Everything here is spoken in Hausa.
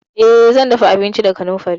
Eh, zan dafa abinci da kanamfari.